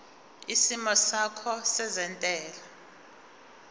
isimo sakho sezentela